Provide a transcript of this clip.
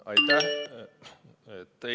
Aitäh!